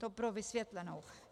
To pro vysvětlenou.